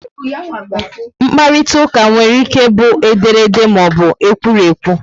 mkparitauka nwere ike bu ederede maọbu ekwurekwu